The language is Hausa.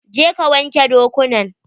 Je ka wanke dokunan!